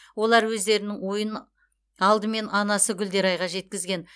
олар өздерінің ойын алдымен анасы гүлдерайға жеткізген